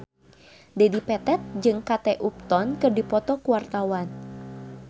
Dedi Petet jeung Kate Upton keur dipoto ku wartawan